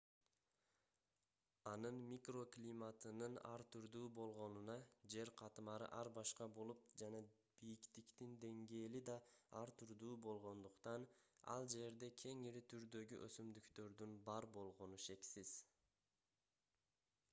анын микроклиматынын ар түрдүү болгонуна жер катмары ар башка болуп жана бийиктиктин деңгээли да ар түрдүү болгондуктан ал жерде кеңири түрдөгү өсүмдүктөрдүн бар болгону шексиз